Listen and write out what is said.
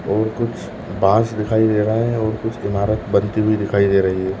और कुछ बाँस दिखाई दे रहा है और कुछ ईमारत बनती हुई दिखाई दे रही है ।